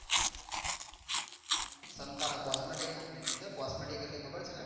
સંતારા cosmetic company ની અંદર cosmetic એટલે ખબર છે ને